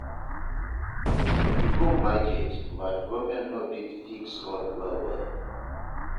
We go market, but government no fit fix road well well.